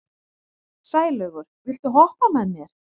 Sælaugur, viltu hoppa með mér?